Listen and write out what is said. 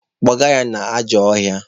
Kpụga ya n'ajọ ọhịa!